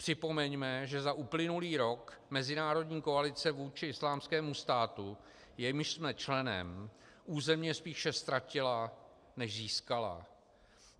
Připomeňme, že za uplynulý rok mezinárodní koalice vůči Islámskému státu, jejímž jsme členem, územně spíše ztratila než získala.